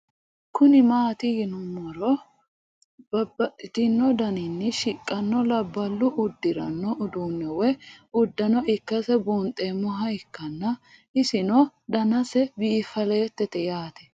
Kuni mati yinumo ha ikiro babaxino daninina shiqano labalu udirano udune woyi udano ikase bunxemoha ikana isino danase biifaletete yaate